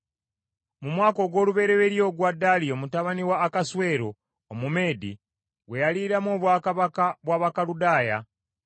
Mu mwaka ogw’olubereberye ogwa Daliyo mutabani wa Akaswero Omumeedi, gwe yaliiramu obwakabaka bwa Bakaludaaya,